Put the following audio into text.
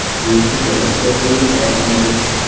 Bu yurtni ko‘rish ko‘p yillik orzum edi.